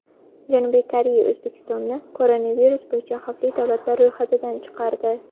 Janubiy Koreya O‘zbekistonni koronavirus bo‘yicha xavfli davlatlar ro‘yxatidan chiqardi.